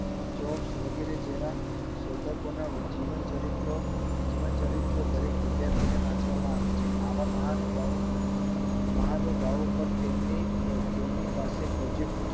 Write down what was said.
jobs વગેરે જેવા શોધકો ના જીવન ચરિત્ર જીવન ચરિત્ર દરેક વિદ્યાર્થી ને વાંચવામાં આવે છે આવા મહાનુભાવો મહાનુભાવો પર તેમની પર તેમની પાસે પ્રોજેક્ટ